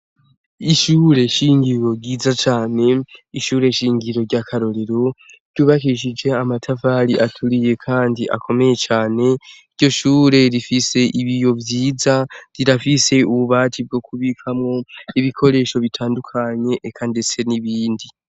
Ishure shingiro ryiza cyane ishure shingiro ry'akarorero ryubakishije amatafari aturiye kandi akomeye cane iryo shure rifise ibiyo vyiza rirafise ububati bwo ku bikamo ibikoresho bitandukanye eka ndetse n'ibindi.